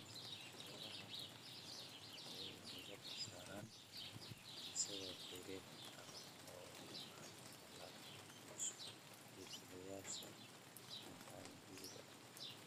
Beeraha madax-bannaan waxay diiradda saaraan dhisidda xiriir adag oo waara oo lala yeesho iibsadayaasha maxalliga ah